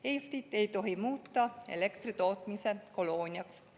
Eestit ei tohi muuta elektritootmise kolooniaks.